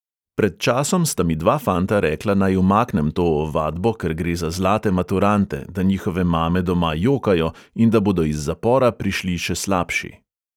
Pred časom sta mi dva fanta rekla, naj umaknem to ovadbo, ker gre za zlate maturante, da njihove mame doma jokajo in da bodo iz zapora prišli še slabši.